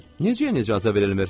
Necə yəni icazə verilmir?